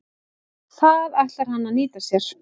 Það ætlar hann að nýta sér.